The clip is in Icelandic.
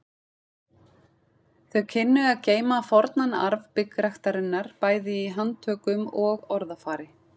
Þau kynnu að geyma fornan arf byggræktarinnar bæði í handtökum og orðafari.